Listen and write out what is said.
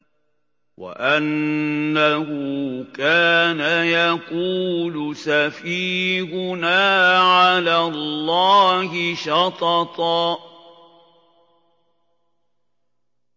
وَأَنَّهُ كَانَ يَقُولُ سَفِيهُنَا عَلَى اللَّهِ شَطَطًا